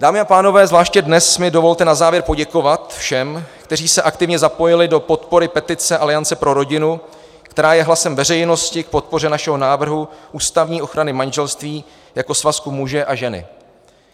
Dámy a pánové, zvláště dnes mi dovolte na závěr poděkovat všem, kteří se aktivně zapojili do podpory petice Aliance pro rodinu, která je hlasem veřejnosti k podpoře našeho návrhu ústavní ochrany manželství jako svazku muže a ženy.